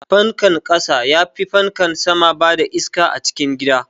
Fankan ƙasa yafi fankan sama bada iska a cikin gida.